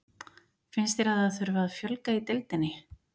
Finnst þér að það þurfi að fjölga í deildinni?